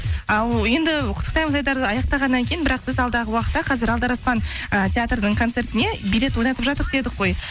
ал енді құттықтаймыз айдарды аяқтағаннан кейін бірақ біз алдағы уақытта қазір алдараспан ы театрдың концертіне билет ойнатып жатырқ дедік қой